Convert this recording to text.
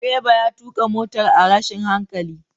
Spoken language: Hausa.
Direba ya tuka motar a rashin hankali.